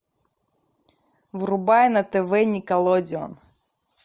врубай на тв никелодеон